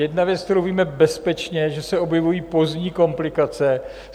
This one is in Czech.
Jedna věc, kterou víme bezpečně, že se objevují pozdní komplikace.